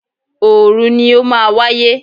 Òòru ni ó máa wáyé.